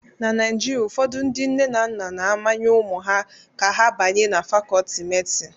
Na Naijiria, ụfọdụ ndị nne na nna na-amanye ụmụ ha ka ha banye na Fakọọti medịsịn